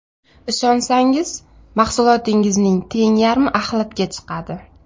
Ishonsangiz, mahsulotingizning teng yarmi axlatga chiqadi.